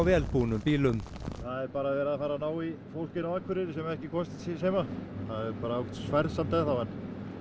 vel búnum bílum það er verið að ná í fólk inn á Akureyri sem ekki komst til síns heima það er ágætis færð samt enn þá en